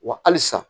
Wa halisa